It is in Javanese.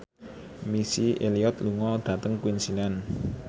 Missy Elliott lunga dhateng Queensland